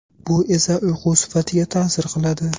Bu esa uyqu sifatiga ta’sir qiladi.